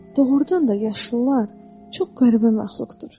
Doğrudan da yaşlılar çox qəribə məxluqdur.